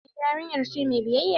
Eh yarinya ce mai biyayya.